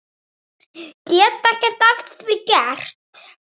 Get ekkert að því gert.